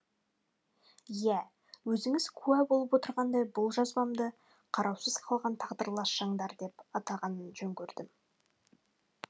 иә өзіңіз куә болып отырғандай бұл жазбамды қараусыз қалған тағдырлас жандар деп атаған жөн көрдім